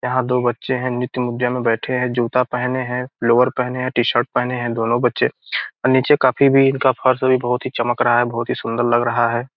यहाँ दो बच्चे हैं नृत्य मुद्रा में बैठे है जूता पहने है लोअर पहने है टी-शर्ट पहने है दोनों बच्चे और नीचे काफी भी फर्श इनका चमक रहा है बहुत ही सुन्दर लग रहा है।